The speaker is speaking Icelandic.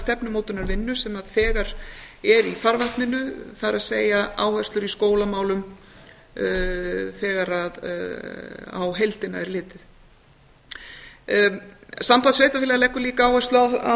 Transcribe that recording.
stefnumótunarvinnu sem þegar er í farvatninu það er áherslur í skólamálum þegar á heildina er litið samband sveitarfélaga leggur líka áherslu á